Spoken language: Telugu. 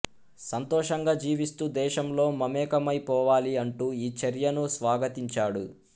సంతోషంగా జీవిస్తూ దేశంలో మమేకమై పోవాలి అంటూ ఈ చర్యను స్వాగతించాడు